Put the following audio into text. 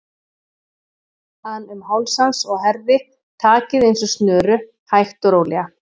an um háls hans og herði takið eins og snöru, hægt og rólega.